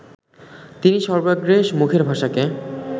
তিনিই সর্বাগ্রে মুখের ভাষাকে